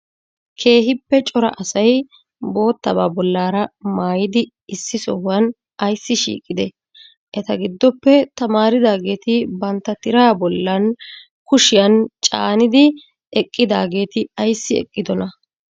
Keehippe cora asay bottabaa bollara maayidi issi sohuwa aysi shiqqidee? Eta giddoppe tamaaridaageeti bantta tiraa bollan kushiyan caaniddi eqqidaageeti ayssi eqqidonaa?